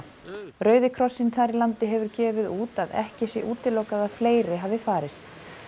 rauði krossinn þar í landi hefur gefið út að ekki sé útilokað að fleiri hafi farist